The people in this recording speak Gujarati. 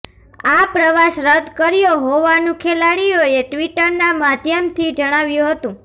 આ પ્રવાસ રદ કર્યો હોવાનું ખેલાડીઓએ ટ્વિટરના માધ્યમથી જણાવ્યું હતું